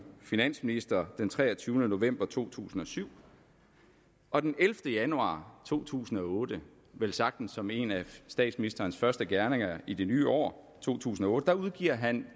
finansminister den treogtyvende november to tusind og syv og den ellevte januar to tusind og otte velsagtens som en af statsministerens første gerninger i det nye år to tusind og otte udgiver han